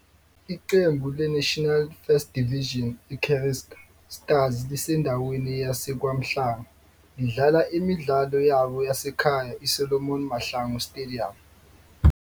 Iqembu le-National First Division i-Casric Stars lisendaweni yaseKwaMhlanga, lidlala imidlalo yabo yasekhaya ISolomon Mahlangu Stadium.